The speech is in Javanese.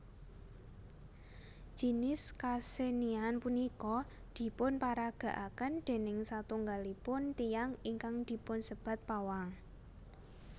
Jinis kasenian punika dipunparagakaken déning satunggalipun tiyang ingkang dipunsebat pawang